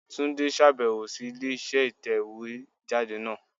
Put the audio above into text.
Túndé sàbẹ̀wò sí ilé iṣẹ́ ìtẹ̀wé jáde náà